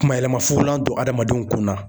Kuma yɛlɛma fugulan don hadamadenw kun na.